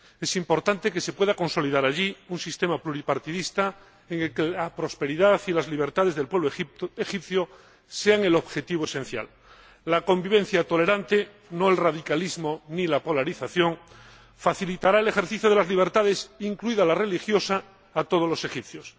Es importante que se pueda consolidar allí un sistema pluripartidista en el que la prosperidad y las libertades del pueblo egipcio sean el objetivo esencial. La convivencia tolerante —no el radicalismo ni la polarización— facilitará el ejercicio de las libertades, incluida la religiosa, a todos los egipcios.